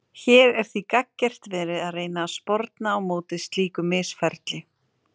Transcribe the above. Hér er því gagngert verið að reyna að sporna á móti slíku misferli.